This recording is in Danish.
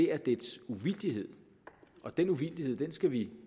er dets uvildighed og den uvildighed skal vi